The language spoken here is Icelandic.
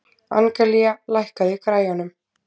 Angelía, lækkaðu í græjunum.